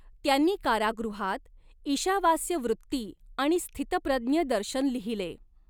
त्यांनी कारागृहात ईशावास्यवृत्ति आणि स्थितप्रज्ञ दर्शन लिहिले.